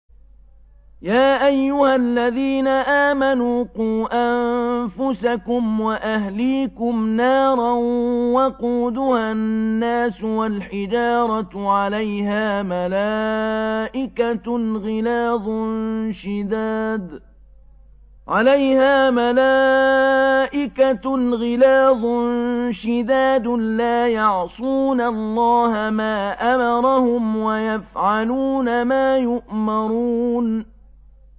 يَا أَيُّهَا الَّذِينَ آمَنُوا قُوا أَنفُسَكُمْ وَأَهْلِيكُمْ نَارًا وَقُودُهَا النَّاسُ وَالْحِجَارَةُ عَلَيْهَا مَلَائِكَةٌ غِلَاظٌ شِدَادٌ لَّا يَعْصُونَ اللَّهَ مَا أَمَرَهُمْ وَيَفْعَلُونَ مَا يُؤْمَرُونَ